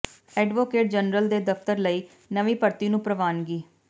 advocate general ਦੇ ਦਫ਼ਤਰ ਲਈ ਨਵੀਂ ਭਰਤੀ ਨੂੰ ਪ੍ਰਵਾਨਗੀ